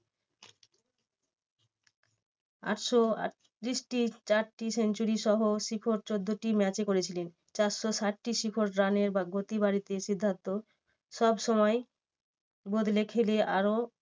আটশো আটত্রিশটি চারটি century সহ শিখর চোদ্দটি match এ করেছিলেন। চারশো ষাটটি শিখর run এর গতি বাড়াতে সিদ্ধান্ত সবসময় বদলে খেলে আরো